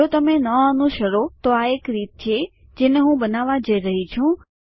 જો તમે ન અનુસરો તો આ એક રીત છે જેને હું બનાવવા જઈ રહી છું